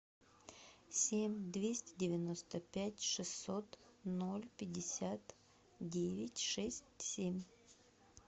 семь двести девяносто пять шестьсот ноль пятьдесят девять шесть семь